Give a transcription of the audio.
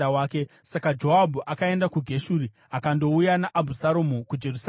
Saka Joabhu akaenda kuGeshuri akandouya naAbhusaromu kuJerusarema.